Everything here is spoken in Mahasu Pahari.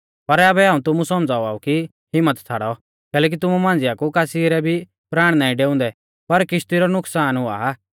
पर आबै हाऊं तुमु सौमझ़ावाउ की हिम्मत छ़ाड़ौ कैलैकि तुमु मांझ़िया कु कासी रै भी प्राण नाईं डेउणै पर किश्ती रौ नुकसान हुआ